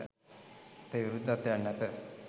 අපේ විරුද්ධත්වයක් නැත